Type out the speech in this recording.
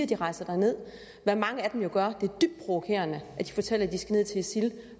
de rejser derned hvad mange af dem jo gør det er dybt provokerende at de fortæller at de skal ned til isil